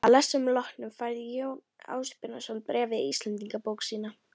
Að lestrinum loknum færði Jón Ásbjarnarson bréfið í Íslendingabók sína.